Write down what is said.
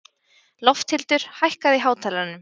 Lofthildur, hækkaðu í hátalaranum.